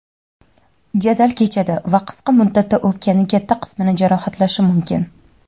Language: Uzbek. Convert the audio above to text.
jadal kechadi va qisqa muddatda o‘pkani katta qismini jarohatlashi mumkin.